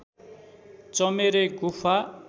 चमेरे गुफा